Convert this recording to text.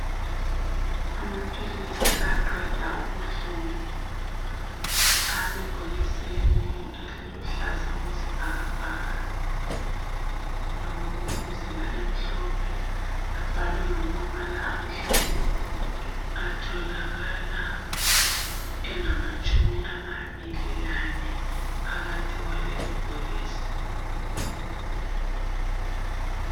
Amaphilisi aqeda ubuhlungu asebhokisini eliluhlaza okwesibhakabhaka lomzila emhlophe abhalwe ngamabala amhlophe athokalala engamatshumi amabili lane phakathi kwaleli bhokisi